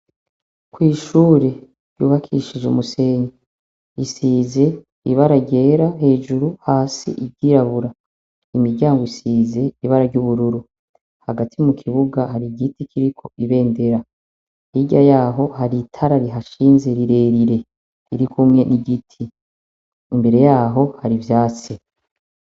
Kw'ishure rubakishijwe umusenyi risize ibara ryera hejuru hasi iryirabura. Imiryango isize ibara ry'ubururu. Hagati mu kibuga hari igiti kiriko ibendera. Hirya yaho hari itara rihashinze rirerire riri kumwe n'igiti. Imbere yaho hari ivyatsi.